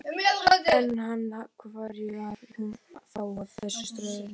En, af hverju er hún þá að þessu streði?